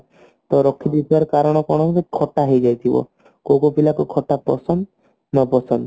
ରାଖୀ ଦେଇଥିବାର କାରଣ କଣ ନା ଖଟା ହେଇ ଯାଉଛି ଥିବ କୋଉ କୋଉ ପିଲା କୁ ଖଟା ପସନ୍ଦ ନା ପସନ୍ଦ